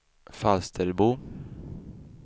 Falsterbo